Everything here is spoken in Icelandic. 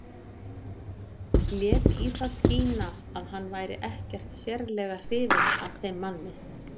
Lét í það skína að hann væri ekkert sérlega hrifinn af þeim manni.